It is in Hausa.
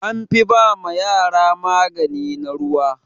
An fi ba ma yara magani na ruwa.